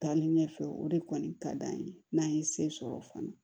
Taalen ɲɛfɛ o de kɔni ka d'an ye n'an ye se sɔrɔ fana